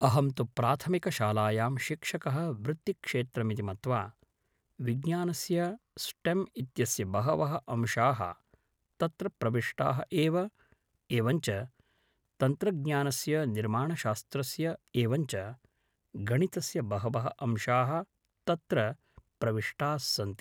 अहन्तु प्राथमिकशालायां शिक्षकः वृत्तिक्षेत्रमिति मत्वा विज्ञानस्य स्टेम् इत्यस्य बहवः अंशाः तत्र प्रविष्टाः एव एवञ्च तन्त्रज्ञानस्य निर्माणशास्त्रस्य एवञ्च गणितस्य बहवः अंशाः तत्र प्रविष्टास्सन्ति